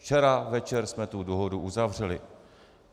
Včera večer jsme tu dohodu uzavřeli.